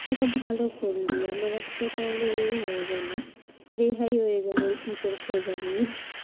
সেটা ভালো করলি, আমার একটা তাহলে এই হয়ে গেলো, রেহাই হয়ে গেলো এই teacher খোঁজা নিয়ে।